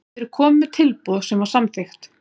Þeir komu með tilboð sem var samþykkt.